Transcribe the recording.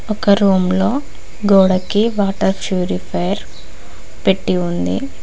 ఒక రూమ్ లో గోడకి వాటర్ ప్యూరిఫైయర్ పెట్టి ఉంది.